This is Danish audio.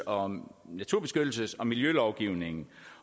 om naturbeskyttelses og miljølovgivningen